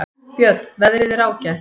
Björn: Veðrið er ágætt.